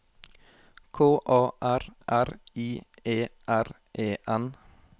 K A R R I E R E N